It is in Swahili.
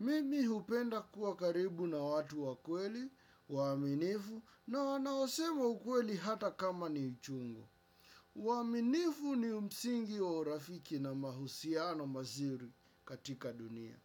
Mimi hupenda kuwa karibu na watu wakweli, waaminifu, na wanaosema ukweli hata kama ni uchungu. Uaaminifu ni msingi wa urafiki na mahusiano mazuri katika dunia.